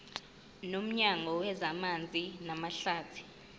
nomnyango wezamanzi namahlathi